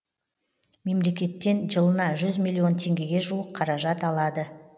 мемлекеттен жылына жүз миллион теңгеге жуық қаражат алады